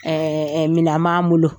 Ɛɛɛɛ minɛn m'an bolo.